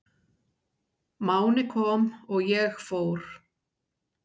Máni kom og ég fór.